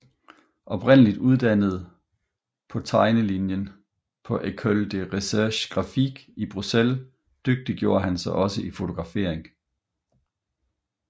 Oprindeligt uddannet på tegnelinjen på École de recherche graphique i Bryssel dygtiggjorde han sig også i fotografering